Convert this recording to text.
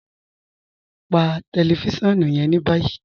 Pà tẹlifisiọnu yẹn ni báyì.